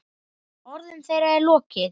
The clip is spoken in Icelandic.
Orðum þeirra er lokið.